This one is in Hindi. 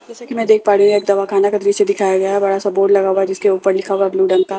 जैसा कि मैं देख पा रही हूं यह एक दवा खाना का दृश्य दिखाया गया है बड़ा सा बोर्ड लगा हुआ है जिसके ऊपर लिखा हुआ है ब्लू रंग का --